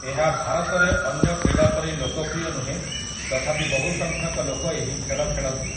ଏହା ଭାରତରେ ଅନ୍ୟ କ୍ରୀଡ଼ା ପରି ଲୋକପ୍ରିୟ ନୁହେଁ ତଥାପି ବହୁ ସଂଖ୍ୟକ ଲୋକ ଏହି ଖେଳ ଖେଳନ୍ତି ।